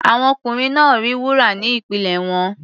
Àwọn ọkùnrin náà rí wúrà ní ìpínlẹ̀ wọn.